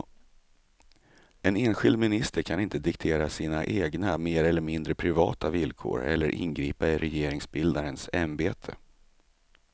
En enskild minister kan inte diktera sina egna mer eller mindre privata villkor eller ingripa i regeringsbildarens ämbete.